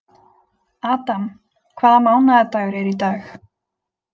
Adam, hvaða mánaðardagur er í dag?